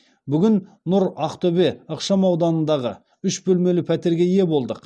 бүгін нұр ақтөбе ықшам ауданындағы үш бөлмелі пәтерге ие болдық